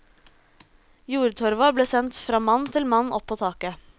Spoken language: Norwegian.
Jordtorva ble sendt fra mann til mann opp på taket.